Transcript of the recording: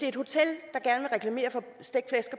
et hotel